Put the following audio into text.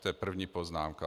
To je první poznámka.